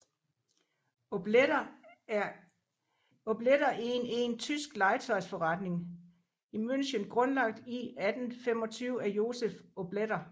Obletter en en tysk legetøjsforretning i München grundlagt i 1825 af Josef Obletter